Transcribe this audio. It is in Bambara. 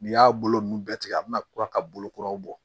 N'i y'a bolo ninnu bɛɛ tigɛ a bɛna kura ka bolokuraw bɔ